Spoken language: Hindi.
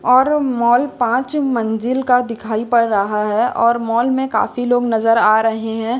और माल पांच मंजिल का दिखाई पड़ रहा है और मॉल में काफी लोग नजर आ रहे हैं।